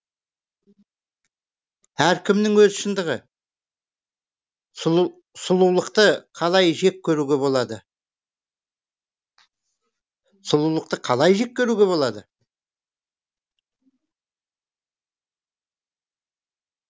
әркімнің өз шындығы сұлулықты қалай жек көруге болады сұлулықты қалай жек көруге болады